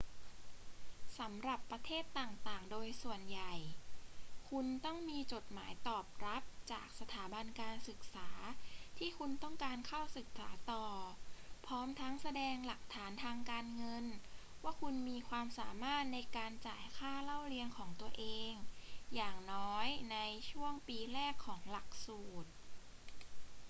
สำหรับประเทศต่าง ๆ โดยส่วนใหญ่ คุณต้องมีจดหมายตอบรับจากสถาบันการศึกษาที่คุณต้องการเข้าศึกษาต่อ พร้อมทั้งแสดงหลักฐานทางการเงินว่าคุณมีความสามารถในการจ่ายค่าเล่าเรียนของตัวเองอย่างน้อยในช่วงปีแรกของหลักสูตร